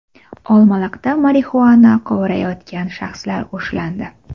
Olmaliqda marixuana qovurayotgan shaxslar ushlandi.